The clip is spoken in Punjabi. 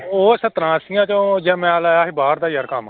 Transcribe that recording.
ਉਹ ਸੱਤਰਾਂ ਅੱਸੀਆਂ ਚੋਂ ਯਾਰ ਮੈਂ ਲਾਇਆ ਸੀ ਬਾਹਰ ਦਾ ਯਾਰ ਕੰਮ।